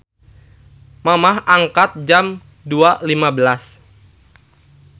Mamah angkat Jam 02.15